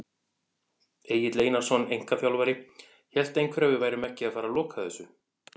Egill Einarsson, einkaþjálfari: Hélt einhver að við værum ekki að fara loka þessu!?